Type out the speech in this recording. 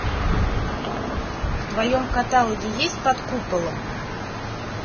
в твоем каталоге есть под куполом